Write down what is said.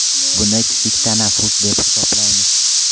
Buni kichik tanaffus deb hisoblaymiz.